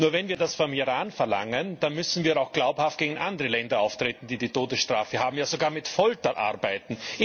Nur wenn wir das vom Iran verlangen, dann müssen wir auch glaubhaft gegen andere Länder auftreten, die die Todesstrafe haben, ja sogar mit Folter arbeiten.